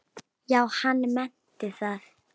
Já, hann meinti það.